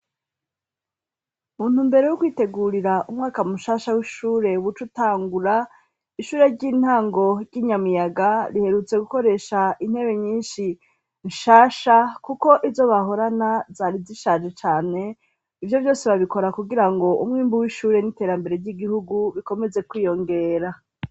Mu ntumbero yo kwitegurira umwaka mushasha w'ishure buca utangura , shure ry'intango ry'i Nyamiyaga riherutse gukoresha intebe nyinshi nshasha kuko izo bahorana zari zishaje cane ; Ivyo vyose babikora kugira ngo umwimbu w'ishure n'iterambere ry'igihugu bikomeze kwiyongera.